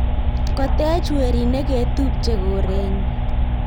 kotech weriit neketupche korenyi